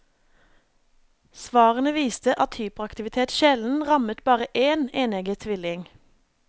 Svarene viste at hyperaktivitet sjelden rammet bare én enegget tvilling.